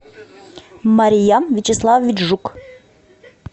мария вячеславович жук